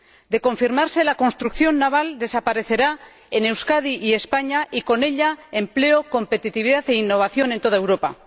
De confirmarse, la construcción naval desaparecerá en Euskadi y en España, y con ella, empleo, competitividad e innovación en toda Europa.